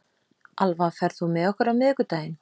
Alva, ferð þú með okkur á miðvikudaginn?